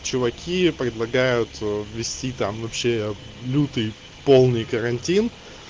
чуваки предлагают ввести там вообще лютый полный карантин